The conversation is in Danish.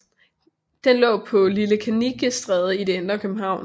Den lå Lille Kannikestræde i det indre København